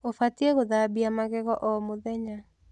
Ũbatiĩ gũthambia magego omũthenya.